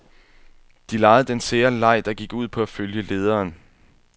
De legede den sære leg, der gik ud på at følge lederen.